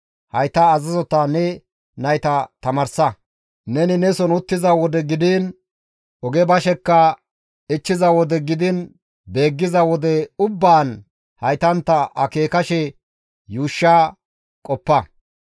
Hayta azazota ne nayta tamaarsa; neni neson uttiza wode gidiin oge bashekka, ichchiza wode gidiin beeggiza wode ubbaan haytantta akeekashe yuushsha qoppa.